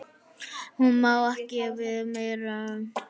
Hann má ekki við meiru.